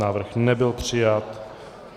Návrh nebyl přijat.